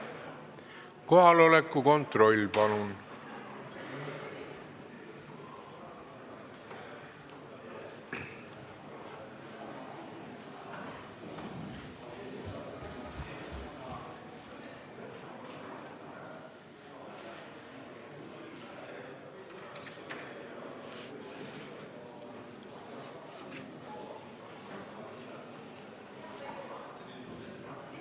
Kohaloleku kontroll, palun!